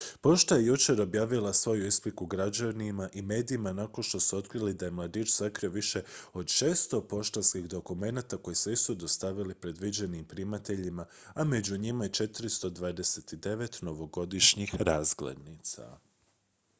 pošta je jučer objavila svoju ispriku građanima i medijima nakon što su otkrili da je mladić sakrio više od 600 poštanskih dokumenata koji se nisu dostavili predviđenim primateljima a među njima je i 429 novogodišnjih razglednica